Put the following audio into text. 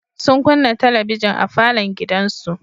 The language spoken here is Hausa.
Sun kunna talabijin a falon gidansu.